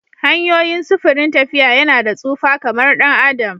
Hanyoyin sufurin tafiya yana da tsufa kamar ɗan adam